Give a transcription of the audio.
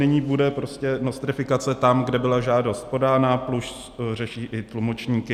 Nyní bude prostě nostrifikace tam, kde byla žádost podána plus řeší i tlumočníky.